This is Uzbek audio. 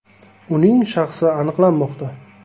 Uning shaxsi aniqlanmoqda.